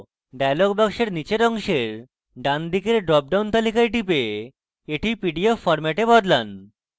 dialog box নীচের অংশের ডানদিকের dropdown তালিকায় টিপে এটি পিডিএফ ফরম্যাটে বদলান